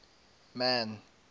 man